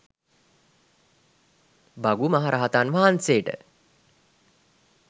භගු මහරහතන් වහන්සේට